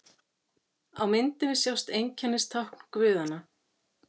Á myndinni sjást einkennistákn guðanna.